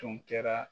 Tun kɛra